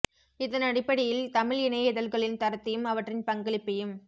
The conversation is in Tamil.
இதனடிப்படையில் தமிழ் இணைய இதழ்களின் தரத்தையும் அவற்றின் பங்களிப்பையும்